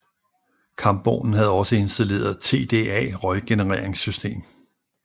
Kampvognen havde også installeret TDA røggenereringssystem